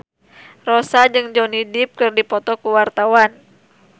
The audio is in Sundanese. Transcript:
Rossa jeung Johnny Depp keur dipoto ku wartawan